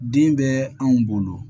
Den bɛ anw bolo